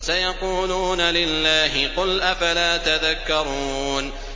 سَيَقُولُونَ لِلَّهِ ۚ قُلْ أَفَلَا تَذَكَّرُونَ